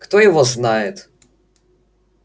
кто его знает